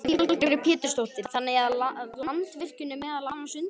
Lillý Valgerður Pétursdóttir: Þannig að Landsvirkjun er meðal annars undir?